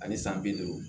Ani san bi duuru